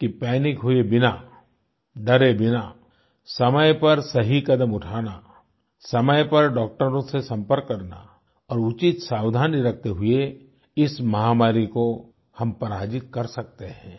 कि पैनिक हुए बिना डरे बिना समय पर सही कदम उठाना समय पर डाक्टरों से संपर्क करना और उचित सावधानी रखते हुए इस महामारी को हम पराजित कर सकते हैं